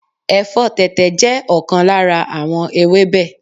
Ẹ̀fọ́ tẹ̀tẹ̀ jẹ́ ọ̀kan lára àwọn ewébẹ̀